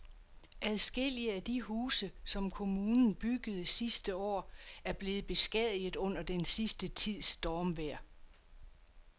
Adskillige af de huse, som kommunen byggede sidste år, er blevet beskadiget under den sidste tids stormvejr.